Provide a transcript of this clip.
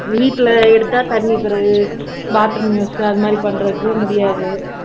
வீட்டுல எடுத்தா தண்ணி பிறகு bathroom use அது மாதிரி பண்றதுக்கு முடியாது அதனால